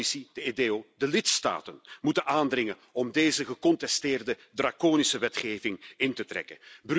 De Commissie, de EDEO en de lidstaten moeten erop aandringen om deze gecontesteerde draconische wetgeving in te trekken.